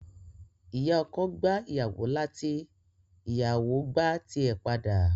Ìyá ọkọ gbá ìyàwó láti, ìyàwò gbá ti ẹ̀ padà.